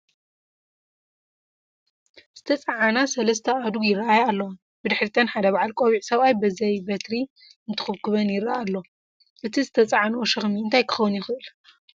ዝተፃዓና 3 ኣእዱግ ይረአያ ኣለዋ፡፡ ብድሕሪተን ሓደ ባዓል ቆቢዕ ሰብኣይ ብዘይ በትሪ እንትኹብኩበን ይረአ ኣሎ፡፡ እቲ ዝተፃዓነኦ ሸኽሚ እንታይ ክኾን ይኽእል?